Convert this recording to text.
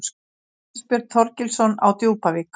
Ásbjörn Þorgilsson á Djúpavík